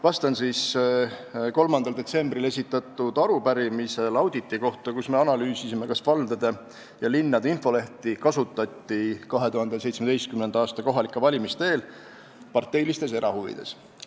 Vastan siis 3. detsembril esitatud arupärimisele auditi kohta, millega me analüüsisime, kas valdade ja linnade infolehti kasutati 2017. aasta kohalike valimiste eel parteilistes erahuvides.